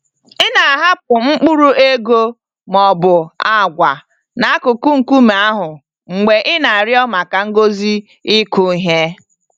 Ị na-ahapụ mkpụrụ ego ma ọ bụ agwa n'akụkụ nkume ahụ mgbe ị na-arịọ maka ngọzi ịkụ ihe.